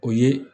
O ye